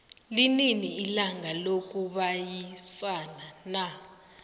linini ilanga lokubayisana na